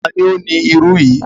Ta ni ó ni irú yìí?